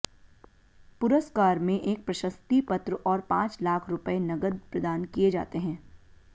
पुरस्कार में एक प्रशस्ति पत्र और पांच लाख रुपए नगद प्रदान किए जाते हैं